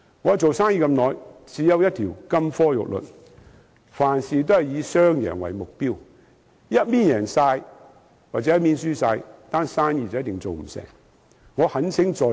我做生意這麼久，只有一條金科玉律：凡事以雙贏為目標，一方贏盡或一方輸盡，生意一定做不成。